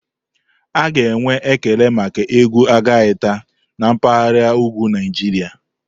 A ga-enwe ekele maka egwu Algaita na mpahara ugwu Naijiria.